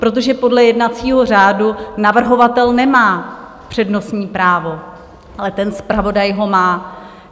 Protože podle jednacího řádu navrhovatel nemá přednostní právo, ale ten zpravodaj ho má.